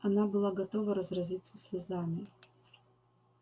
она была готова разразиться слезами